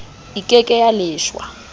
e ke ke ya leshwa